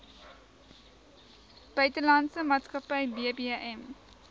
buitelandse maatskappy bbm